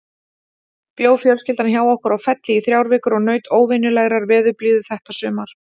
Bjó fjölskyldan hjá okkur á Felli í þrjár vikur og naut óvenjulegrar veðurblíðu þetta sumar.